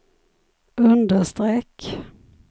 understreck